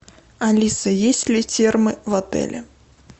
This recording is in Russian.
алиса есть ли термы в отеле